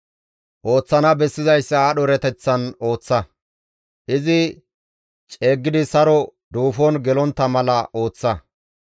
Ooththana bessizayssa aadho erateththan ooththa; izi ceeggidi saro duufon gelontta mala ooththa.